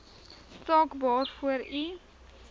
saak waarvoor u